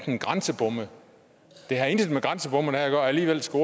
om grænsebomme det har intet med grænsebomme at gøre og alligevel skal